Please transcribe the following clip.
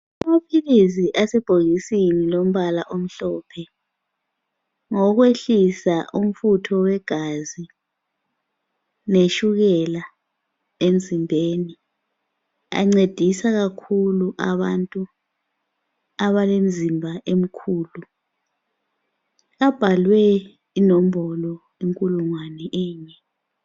Amaphilisi asebhokisini lombala omhlophe ngowokwehlisa umfutho wegazi letshukela emzimbeni. Ancedisa kakhulu abantu abalemizimba emikhulu. Abhalwe inombolo inkulungwane enye.